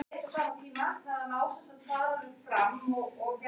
Samruninn byggði á því að þau væru eðlisólík.